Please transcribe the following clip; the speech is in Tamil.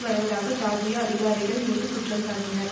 வருவதாக ஜியார்ஜியா அதிகாரிகள் மீது குற்றம்சாட்டினர்